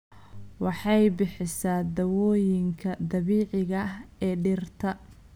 Waxay bixisaa dawooyinka dabiiciga ah ee dhirta.